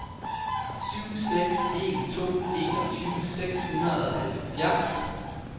syv seks en to enogtyve seks hundrede og halvfjerds